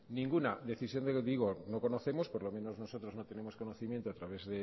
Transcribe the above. por lo menos nosotros no tenemos conocimiento a través